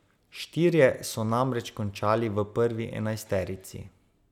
Štirje so namreč končali v prvi enajsterici.